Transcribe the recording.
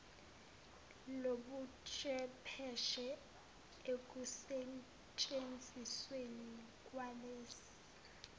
lobuchwepheshe ekusentshenzisweni kwalezi